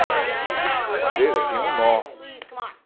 Ah na na madeira tinha um nó.